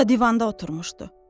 Bu da divanda oturmuşdu.